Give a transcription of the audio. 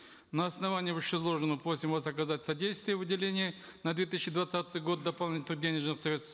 на основании вышеизложенного просим вас оказать содействие в выделении на две тысячи двадцатый год дополнительных денежных средств